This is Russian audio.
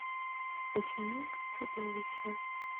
ученик чудовища